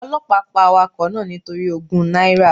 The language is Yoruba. Ọlọ́pàá pa awakọ̀ náà nítorí ogún náírà.